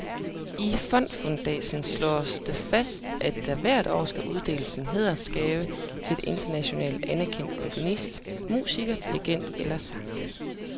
I fondsfundatsen slås det fast, at der hvert år skal uddeles en hædersgave til en internationalt anerkendt komponist, musiker, dirigent eller sanger.